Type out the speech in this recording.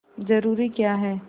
जरूरी क्या है